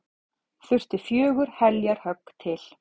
Þurfti fjögur heljarhögg til.